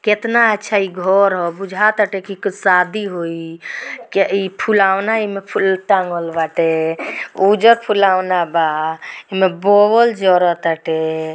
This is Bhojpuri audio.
कितना अच्छा इ घर ह। बुझातटे कि शादी होई के इ फूलवनाई में फूल टंगल बाटे उज फुलौना बा। इमें बौवल जयूरो बाटे--